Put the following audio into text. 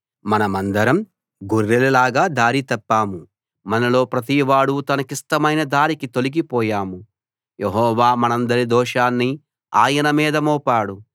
మనందరం గొర్రెలలాగా దారి తప్పాము మనలో ప్రతివాడూ తనకిష్టమైన దారికి తొలగిపోయాము యెహోవా మనందరి దోషాన్ని ఆయనమీద మోపాడు